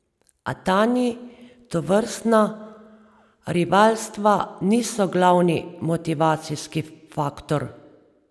A Tanji tovrstna rivalstva niso glavni motivacijski faktor.